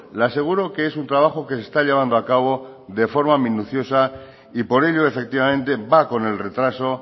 le aseguro que es un trabajo que se está llevando a cabo de forma minuciosa y por ello efectivamente va con el retraso